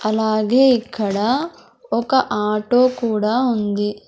అలాగే ఇక్కడ ఒక ఆటో కూడా ఉంది.